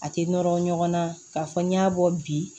A tɛ nɔrɔ ɲɔgɔnna ka fɔ n y'a bɔ bi